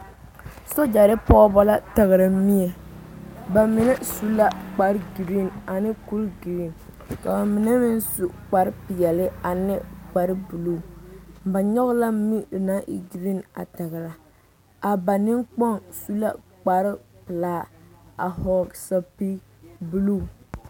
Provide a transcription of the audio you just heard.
Sogyere pɔgeba la tagre mie bamine su la kpare gari ane kuri gari ka bamine meŋ su kpare peɛle ane kpare buluu ba nyoŋ la mire naŋ e gari a tagre a ba nenkpoŋ su la kpare pelaa a vɔgle zupele buluu.